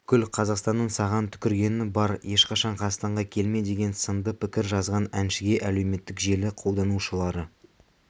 бүкіл қазақстанның саған түкіргені бар ешқашан қазақстанға келме деген сынды пікір жазған әншіге әлеуметтік желі қолданушылары